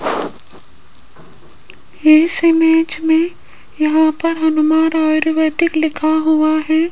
इस इमेज में यहां पर हनुमान आयुर्वेदिक लिखा हुआ है।